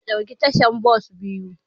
Zamu ɗauki tashar bas biyu.